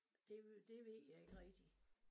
Det det ved jeg ikke rigtig